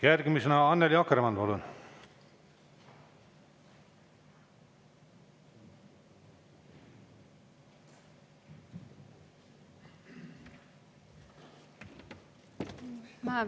Järgmisena Annely Akkermann, palun!